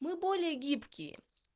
мы более гибкие